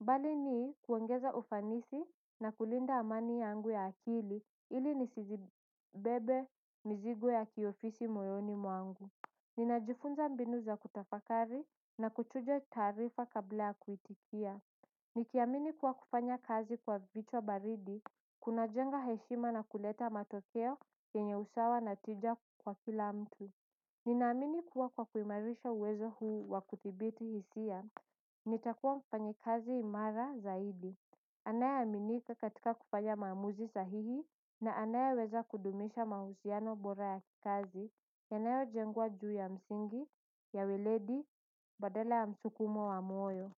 Mbali ni kuongeza ufanisi na kulinda amani yangu ya akili ili nisizibebe mizigo ya kiofisi moyoni mwangu. Ninajifunza mbinu za kutafakari na kuchuja taarifa kabla ya kuitikia. Nikiamini kuwa kufanya kazi kwa vichwa baridi, kuna jenga heshima na kuleta matokeo kenye usawa na tija kwa kila mtu. Ninaamini kuwa kwa kuimarisha uwezo huu wakudhibiti hisia, nitakuwa mfanyikazi imara zaidi anaye aminika katika kufanya maamuzi sahihi na anayeweza kudumisha mahusiano bora ya kikazi yanayo jengwa juu ya msingi, ya weledi, badala ya msukumo wa moyo.